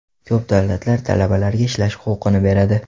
Ko‘p davlatlar talabalarga ishlash huquqini beradi.